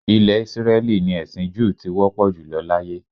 Ilẹ̀ Ísírẹ́lì ni ẹ̀sin júù ti wọ́pọ̀ jùlọ láyé